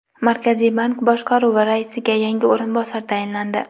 Markaziy bank boshqaruvi raisiga yangi o‘rinbosar tayinlandi.